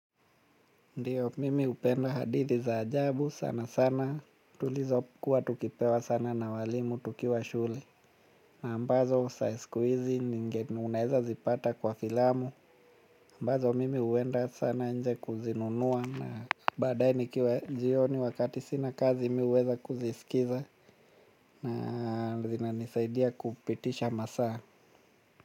Ndiyo mimi hupenda hadithi za ajabu sana sana. Tulizo kuwa tukipewa sana na walimu tukiwa shule na ambazo za siku hizi ni ngeni unaweza zipata kwa filamu ambazo mimi huenda sana nje kuzinunua na baadae nikiwa jioni wakati sina kazi mimi huweza kuzisikiliza na zinanisaidia kupitisha masaa.